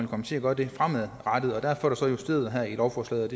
komme til at gøre det fremadrettet og derfor er det så justeret her i lovforslaget